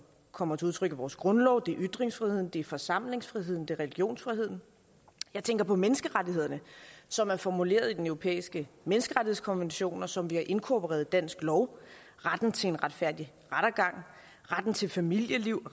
kommer til udtryk i vores grundlov det er ytringsfriheden det er forsamlingsfriheden og det er religionsfriheden jeg tænker på menneskerettighederne som er formuleret i den europæiske menneskerettighedskonvention og som vi har inkorporeret i dansk lov retten til en retfærdig rettergang retten til familieliv